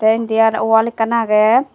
te indi aro wall ekkan aage.